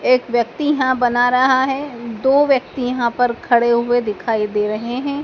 एक व्यक्ति यहां बना रहा है दो व्यक्ति यहां पर खड़े हुए दिखाई दे रहे हैं।